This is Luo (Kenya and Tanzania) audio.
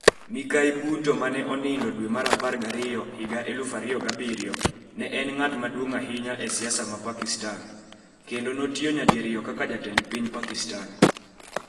Mikayi Bhutto, mane onego Dwe mar apar g'ariyo 2007, ne en ng'at maduong' ahinya e siasa mar Pakistan, kendo notiyo nyadiriyo kaka Jatend Piny Pakistan.